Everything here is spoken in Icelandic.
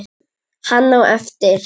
Hann á eftir.